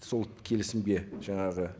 сол келісімге жаңағы